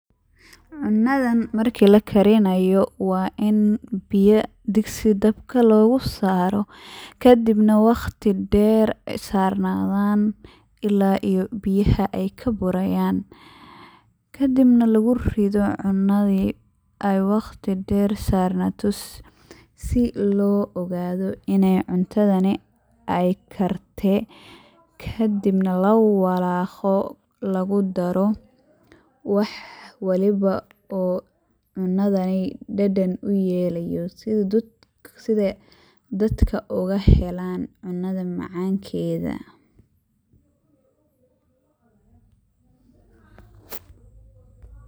Cunnadan marki la karinayo waa in biya digsi dabka logu saaro, kadibna waqti dheer sarnadaan ilaa iyo biyaha ay ka burayaan, kadibna lagu rido cunnadii ay waqti dheer sarnaato si loo ogaado in ay cuntadani ay karte, kadibna la walaqqo, lagu daro wax waliba oo cunnadani dhadhan u yelayo sida dadka oga helaan cunnadan macankeeda.